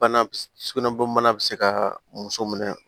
Bana bi s sugunɛbɔ bana bɛ se ka muso minɛ